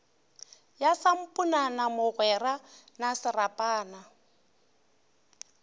ya samponana mogwera na serapana